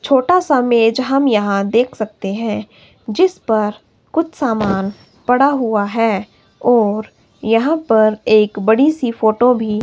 छोटा सा मेज हम यहां देख सकते हैं जिस पर कुछ सामान पड़ा हुआ है और यहां पर एक बड़ी सी फोटो भी--